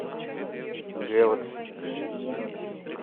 гелакси